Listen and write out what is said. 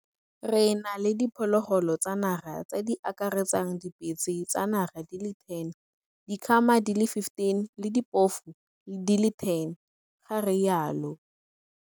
Re na le diphologolo tsa naga tse di akaretsang dipitse tsa naga di le 10, dikgama di le 15 le diphofu di le 10, ga rialo.